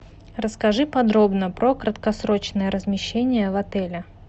расскажи подробно про краткосрочное размещение в отеле